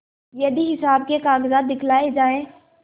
यदि हिसाब के कागजात दिखलाये जाएँ